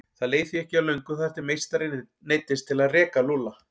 Það leið því ekki á löngu þar til meistarinn neyddist til að reka Lúlla.